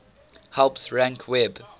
helps rank web